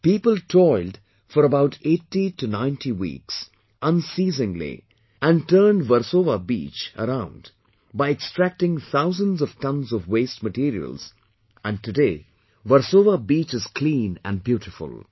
People toiled for about 8090 weeks, unceasingly and turned Versova beach around by extracting thousand of tonnes of waste materials and today Versova beach is clean and beautiful